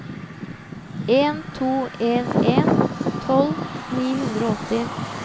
en to en en tolv ni hundre og åtti